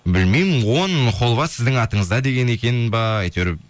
білмеймін он холва сіздің атыңызда деген екен бе әйтеуір